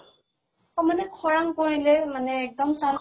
অ মানে খৰাং পৰিলে মানে খৰাং